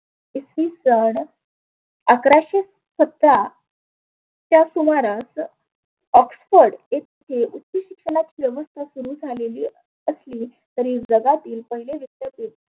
इसवीसन अकराशे सतरा त्या सुमारास ऑक्सफोर्ड येथे उच्च शिक्षणाची व्यवस्था सुरु झालेली असली तरी जगातील पहिले विद्यापीठ